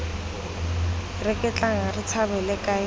reketlang re tshabale kae tota